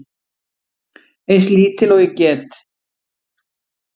Eins lítil og ég get.